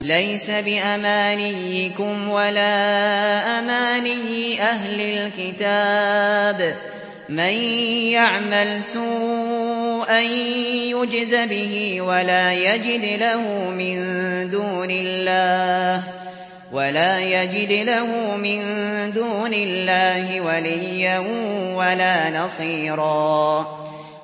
لَّيْسَ بِأَمَانِيِّكُمْ وَلَا أَمَانِيِّ أَهْلِ الْكِتَابِ ۗ مَن يَعْمَلْ سُوءًا يُجْزَ بِهِ وَلَا يَجِدْ لَهُ مِن دُونِ اللَّهِ وَلِيًّا وَلَا نَصِيرًا